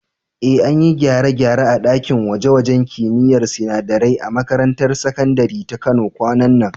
Eh, an yi gyare-gyare a ɗakin gwaje-gwajen kimiyyar sinadarai a makarantar sakandare ta Kano kwanan nan.